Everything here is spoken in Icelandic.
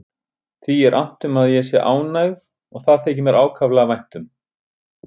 Því er annt um að ég sé ánægð og það þykir mér ákaflega vænt um.